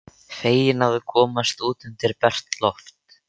Feginn að komast út undir bert loft.